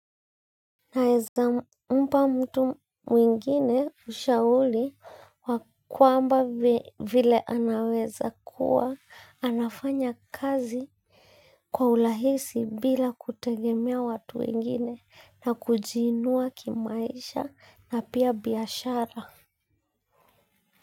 Naeza mpa mtu mwingine ushauli wa kwamba vile anaweza kuwa anafanya kazi kwa ulahisi bila kutegemea watu wengine na kujiinua kimaisha na pia biashara.